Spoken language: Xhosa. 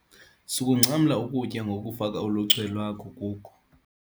Sukungcamla ukutya ngokufaka uluchwe lwakho kuko.